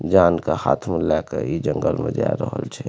जान के हाथ में लेके ई जंगल में जा रहल छे।